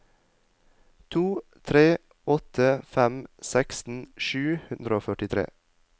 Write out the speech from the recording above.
to tre åtte fem seksten sju hundre og førtitre